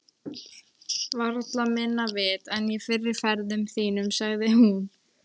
Varla minna vit en í fyrri ferðum þínum, sagði hún.